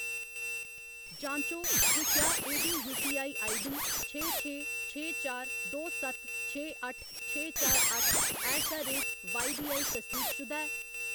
जांचो जे क्या एह्‌‌ दी यूपीआई आईडीडी छे छे छे चार दो सत्त छे अट्ठ छे चार अट्ठ ऐट द रेट वाईबीऐल्ल तसदीकशुदा ऐ।